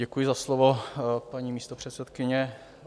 Děkuji za slovo, paní místopředsedkyně.